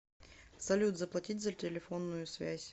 салют заплатить за телефонную связь